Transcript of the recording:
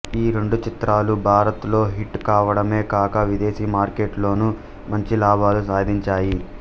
ఈ రెండు చిత్రాలూ భారత్ లో హిట్ కావడమే కాక విదేశీ మార్కెట్లోనూ మంచి లాభాలు సాధించాయి